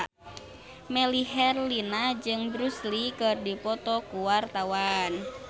Melly Herlina jeung Bruce Lee keur dipoto ku wartawan